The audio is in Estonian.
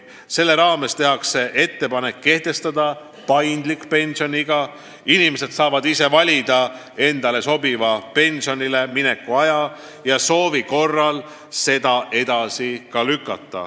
Selle raames tehakse ettepanek kehtestada paindlik pensioniiga: inimesed saavad ise valida endale sobiva pensionile mineku aja.